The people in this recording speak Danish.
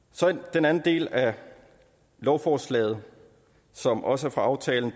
den anden del af lovforslaget som også er fra aftalen